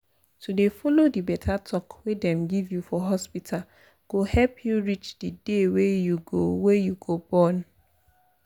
to dey follow di beta talk wey dem give you for hospita go help u reach di day wey u go wey u go born.